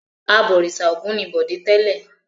Abọ̀rìṣà Ògún ni Bọ̀dé tẹ́lẹ̀.